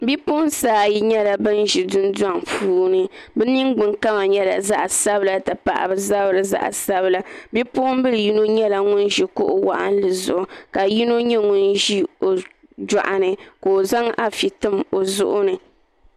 Bipuɣunsi ayi nyɛla bin ʒi dundoŋ puuni bi ningbuni kama nyɛla zaɣ sabila ti pahi bi zabiri zaɣ sabila bipuɣunbili yino nyɛla ŋun ʒi kuɣu waɣanli zuɣu ka yino ʒi o joɣani ka o zaŋ afi tim o zuɣu ni